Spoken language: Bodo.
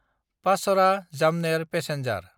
पाचरा–जामनेर पेसेन्जार